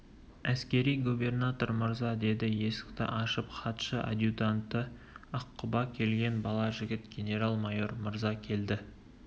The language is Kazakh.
әскери губернатор мырза деді есікті ашып хатшы-адъютанты аққұба келген бала жігіт генерал майор мырза келді